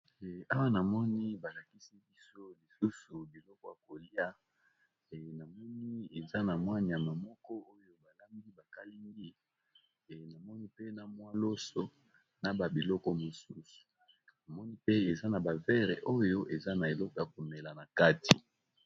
Awa namoni balakisi biso lisusu biloko ya kolia e namoni eza na mwa nyama moko oyo balambi bakalingi e namoni pe na mwa loso na ba biloko mosusu namoni pe eza na ba vere oyo eza na eloko ya komela na kati.